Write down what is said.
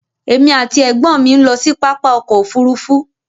Èmi ati ẹ̀gbọ́n mi n lọ sí pápá ọkọ òfúrúúfú.